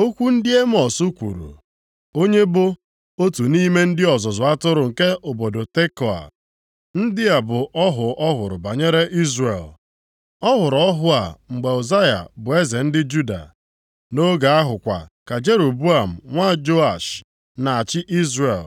Okwu ndị Emọs kwuru, onye bụ otu nʼime ndị ọzụzụ atụrụ nke obodo Tekoa. Ndị a bụ ọhụ ọ hụrụ banyere Izrel. Ọ hụrụ ọhụ a mgbe Uzaya bụ eze ndị Juda. Nʼoge ahụ kwa ka Jeroboam nwa Joash na-achị Izrel.